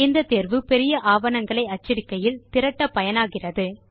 இந்த தேர்வு பெரிய ஆவணங்களை அச்சடிக்கையில் திரட்ட பயனாகிறது